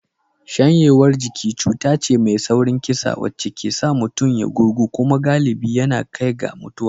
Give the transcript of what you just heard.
Shanyewar jiki cuta ce mai saurin kisa wacce ke sa mutum ya gurgu kuma galibi yana kai ga mutuwa.